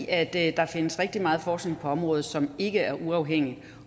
at der findes rigtig meget forskning på området som ikke er uafhængig